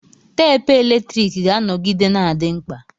Teepu eletrik ga-anọgide na-adị mkpa.